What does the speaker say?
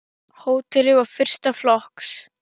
Hótelið var fyrsta flokks.